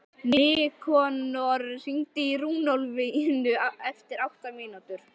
Nikanor, hringdu í Runólfínu eftir átta mínútur.